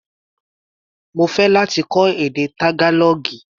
Mo fẹ́ láti kọ́ èdè Tágálọ́ọ̀gì.